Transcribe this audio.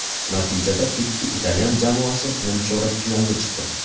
Natijada ikki italyan jamoasi nimchorak finalga chiqdi.